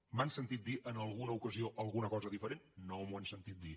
m’han sentit dir en alguna ocasió alguna cosa diferent no m’ho han sentit dir